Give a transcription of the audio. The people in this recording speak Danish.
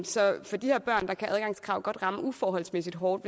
så for de her børn kan adgangskrav godt ramme uforholdsmæssig hårdt